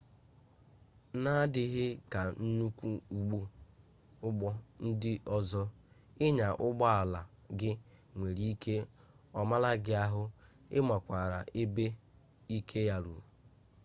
n'adịghị ka nnukwu ụgbọ ndị ọzọ ịnya ụgbọ ala gị nwere ike ọ maala gị ahụ ị makwaara ebe ike ya ruru